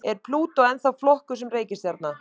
Er Plútó ennþá flokkuð sem reikistjarna?